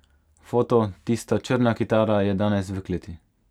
Foto: 'Tista' črna kitara je danes v kleti.